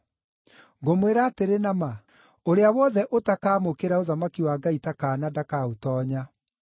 Ngũmwĩra atĩrĩ na ma, ũrĩa wothe ũtakamũkĩra ũthamaki wa Ngai ta kaana ndakaũtoonya.”